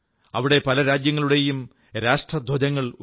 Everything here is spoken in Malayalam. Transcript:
അവിടെ പല രാജ്യങ്ങളുടെയും രാഷ്ട്രധ്വജങ്ങൾ ഉയർത്തി